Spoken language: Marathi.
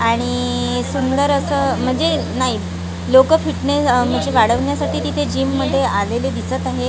आणि सुंदर असं म्हणजे नाही लोकं फिटनेस म्हणजे वाढवण्यासाठी तिथे जिममध्ये आलेले दिसत आहे.